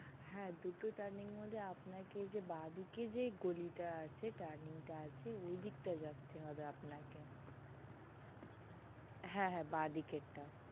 হা দুটো tanning এর মধ্যে আপনাকে যে বা দিকে যে গলি টা আছে tanning আছে সেঐদিকটাতে যেতে হবে আপনাকে হ্যা হ্যা বা দিকের টা